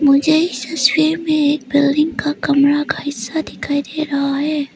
मुझे इस तस्वीर में एक बिल्डिंग का कमरा का हिस्सा दिखाई दे रहा है।